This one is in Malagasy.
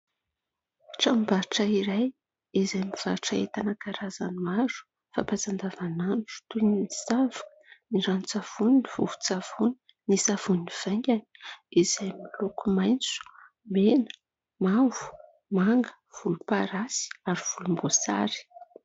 Tranom-barotra iray izay mivarotra entana karazany maro fampiasa andavanandro. Toy : ny savoka, ny ranon-tsavony, ny vovon-tsavony, ny savony vaingany izay miloko : maitso, mena, mavo, manga, volomparasy ary volomboasary.